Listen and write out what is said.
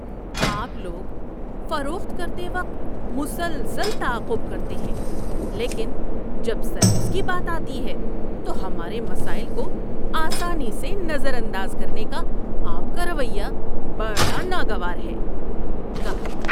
آپ لوگ فروخت کرتے وقت مسلسل تعاقب کرتے ہیں لیکن جب سروس کی بات آتی ہے تو ہمارے مسائل کو آسانی سے نظر انداز کرنے کا آپ کا رویہ بڑا ناگوار ہے۔ (گاہک)